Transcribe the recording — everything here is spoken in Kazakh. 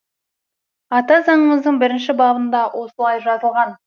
ата заңымыздың бірінші бабында осылай жазылған